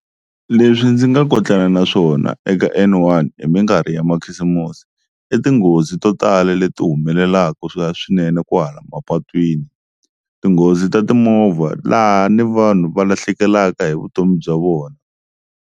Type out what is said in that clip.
Leswi ndzi nga kotlaka na swona eka N-one hi minkarhi ya makhisimusi i tinghozi to tala leti humelelaka swa swinene kwahala mapatwini, tinghozi ta timovha laha ni vanhu va lahlekelaka hi vutomi bya vona.